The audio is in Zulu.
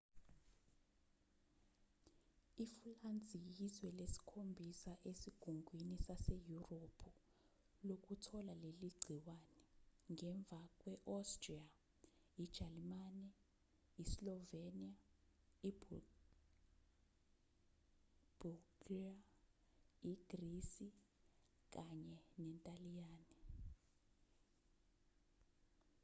ifulansi yizwe lesikhombisa esigungwini saseyurophu lokuthola leligciwane ngemva kwe-austria ijalimane islovenia ibulgria igrisi kanye nentaliyane